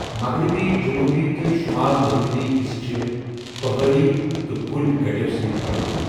مغربی، جنوبی تہٕ شمال مغربی حصہٕ چھِ پہٲڑی تہٕ کُلۍ کٔٹو سۭتۍ بھرپور۔